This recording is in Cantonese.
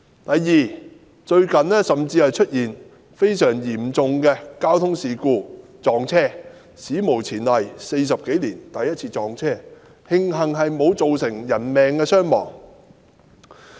第二，最近甚至出現非常嚴重的事故，通車40多年來首次撞車，慶幸沒有造成人命傷亡。